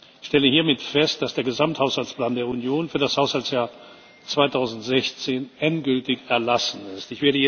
Ich stelle hiermit fest, dass der Gesamthaushaltsplan der Union für das Haushaltsjahr 2016 endgültig erlassen ist.